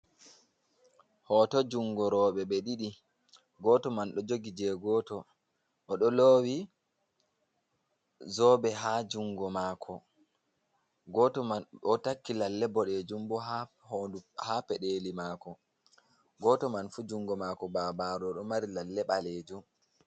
Hoto jungo roɓe ɓe ɗiɗi goto man ɗo jogi je goto oɗo lowi zobe ha jungo mako, goto man ɗo takki lalle boɗejum bo ha pedeli mako goto man fu jungo mako babaru ɗo mari lalle balejum.